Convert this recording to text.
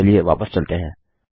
चलिए वापस चलते हैं